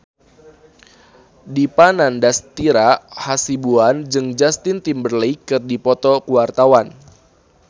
Dipa Nandastyra Hasibuan jeung Justin Timberlake keur dipoto ku wartawan